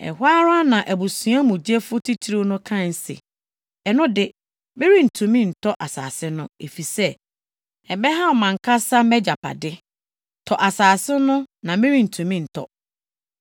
Ɛhɔ ara na abusua mu gyefo titiriw no kae se, “Ɛno de, merentumi ntɔ asase no, efisɛ ɛbɛhaw mʼankasa mʼagyapade. Tɔ asase no na merentumi ntɔ.”